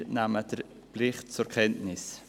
Wir nehmen den Bericht zur Kenntnis.